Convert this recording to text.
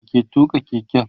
wa ke tuka keken?